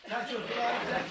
Çək o tərəfi çək.